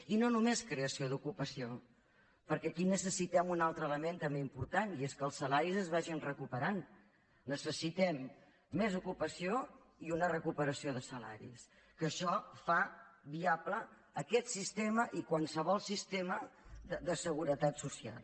i no només creació d’ocupació perquè aquí necessitem un altre element també important i és que els salaris es vagin recuperant necessitem més ocupació i una recuperació de salaris que això fa viable aquest sistema i qualsevol sistema de seguretat social